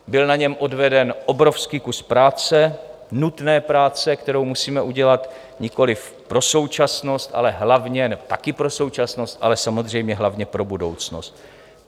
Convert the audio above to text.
Byl na něm odveden obrovský kus práce, nutné práce, kterou musíme udělat nikoliv pro současnost, ale hlavně, nebo také, pro současnost, ale samozřejmě hlavně pro budoucnost.